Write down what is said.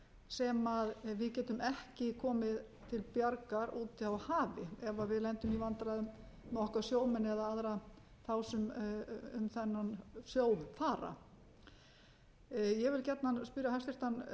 sem við getum ekki komið til bjargar úti á hafi ef við lendum í vandræðum með okkar sjómenn eða aðra þá sem um þennan sjó fara ég vil gjarnan spyrja hæstvirtan